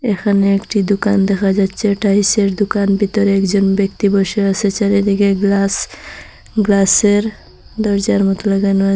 এখানে একটি দুকান দেখা যাচ্চে টাইলস -এর দুকান ভিতরে একজন ব্যক্তি বসে আসে চারিদিকে গ্লাস গ্লাস -এর দরজার মতো লাগানো আসে।